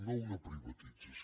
no una privatització